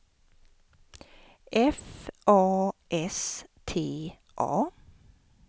F A S T A